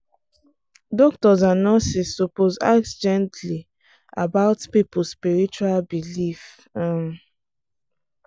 doctors and nurses suppose ask gently about people spiritual belief. um